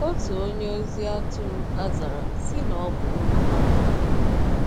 Otu onye ozi atụrụ azara sị na ọ bụ olu ha maara.